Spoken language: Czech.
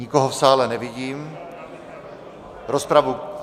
Nikoho v sále nevidím, rozpravu...